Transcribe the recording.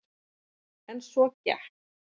En svo gekk